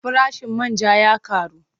Farashin man ja ya ƙaru.